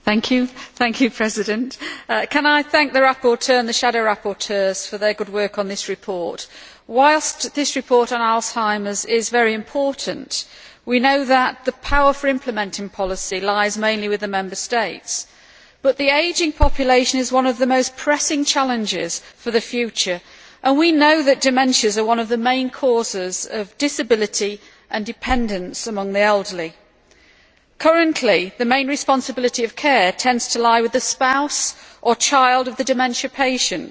Mr President, I would like to thank the rapporteur and the shadow rapporteurs for their good work on this report. Whilst this report on Alzheimer's is very important, we know that the power for implementing policy lies mainly with the Member States. But the ageing population is one of the most pressing challenges for the future and we know that dementia is one of the main causes of disability and dependence among the elderly. Currently, the main responsibility of care tends to lie with the spouse or child of the dementia patient,